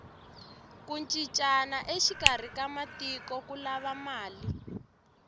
ku cincana exikarhi ka matiko ku lava mali